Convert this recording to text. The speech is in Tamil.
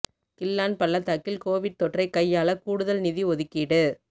கிள்ளான் பள்ளத்தாக்கில் கோவிட் தொற்றைக் கையாள கூடுதல் நிதி ஒதுக்கீடு